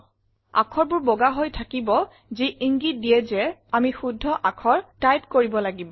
আখৰবোৰ বগা হৈ থাকিব যি ইংগিত দিয়ে যে আমি শুদ্ধ আখৰ টাইপ কৰিব লাগিব